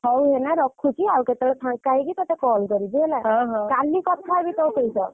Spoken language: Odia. ହଉ ହେନା ରଖୁଛି ଉ କେଟବେଳେ ଫାଙ୍କ ହେଇକି ଟଟେ call କରିବି ହେଲା କାଲି କଥା ହେବି ତୋ ସହିତ।